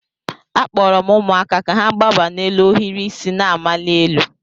Akpọrọ m ụmụaka ka ha gbaba n'elu ohiri isi na-amali elu.